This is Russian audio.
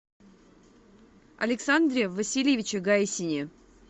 александре васильевиче гайсине